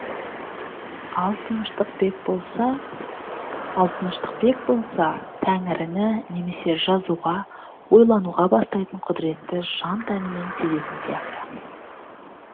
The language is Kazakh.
ал тыныштықбек болса тәңіріні немесе жазуға ойлануға бастайтын құдыретті жан тәнімен сезетін сияқты